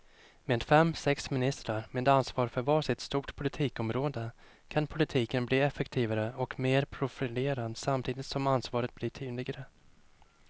Med fem, sex ministrar med ansvar för var sitt stort politikområde kan politiken bli effektivare och mer profilerad samtidigt som ansvaret blir tydligare.